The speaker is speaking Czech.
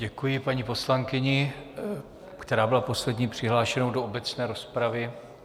Děkuji paní poslankyni, která byla poslední přihlášenou do obecné rozpravy.